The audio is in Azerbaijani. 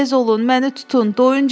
Tez olun, məni tutun.